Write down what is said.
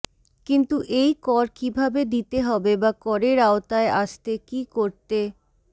কিন্তু এই কর কী ভাবে দিতে হবে বা করের আওতায় আসতে কী করতে